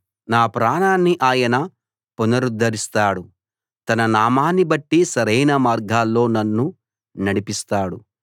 నా ప్రాణాన్ని ఆయన పునరుద్ధరిస్తాడు తన నామాన్ని బట్టి సరైన మార్గాల్లో నన్ను నడిపిస్తాడు